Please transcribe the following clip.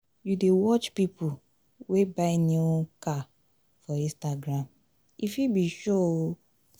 you dey watch pipu wey buy new buy new car for instagram e fit be show o.